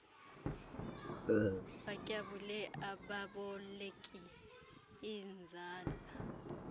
batyabule ababoleki iinzala